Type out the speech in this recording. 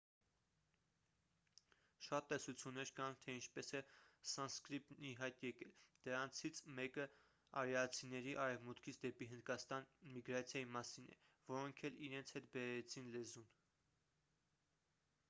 շատ տեսություններ կան թե ինչպես է սանսկրիտն ի հայտ եկել դրանցից մեկը արիացիների արևմուտքից դեպի հնդկաստան միգրացիայի մասին է որոնք էլ իրենց հետ բերեցին լեզուն